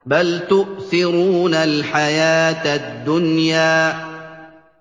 بَلْ تُؤْثِرُونَ الْحَيَاةَ الدُّنْيَا